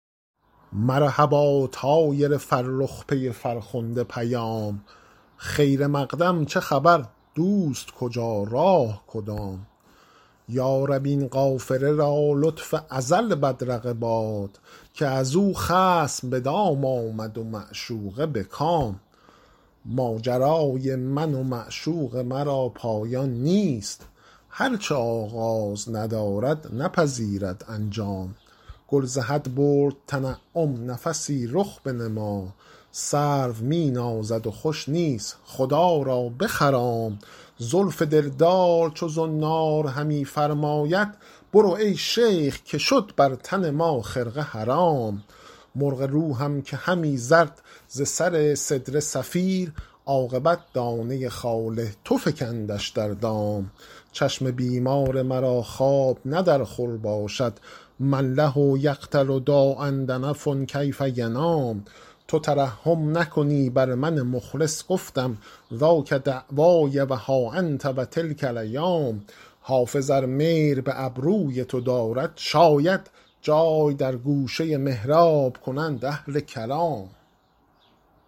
مرحبا طایر فرخ پی فرخنده پیام خیر مقدم چه خبر دوست کجا راه کدام یا رب این قافله را لطف ازل بدرقه باد که از او خصم به دام آمد و معشوقه به کام ماجرای من و معشوق مرا پایان نیست هر چه آغاز ندارد نپذیرد انجام گل ز حد برد تنعم نفسی رخ بنما سرو می نازد و خوش نیست خدا را بخرام زلف دلدار چو زنار همی فرماید برو ای شیخ که شد بر تن ما خرقه حرام مرغ روحم که همی زد ز سر سدره صفیر عاقبت دانه خال تو فکندش در دام چشم بیمار مرا خواب نه در خور باشد من له یقتل داء دنف کیف ینام تو ترحم نکنی بر من مخلص گفتم ذاک دعوای و ها انت و تلک الایام حافظ ار میل به ابروی تو دارد شاید جای در گوشه محراب کنند اهل کلام